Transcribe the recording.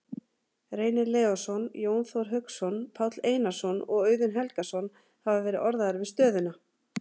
Reynir Leósson, Jón Þór Hauksson, Páll Einarsson og Auðun Helgason hafa verið orðaðir við stöðuna.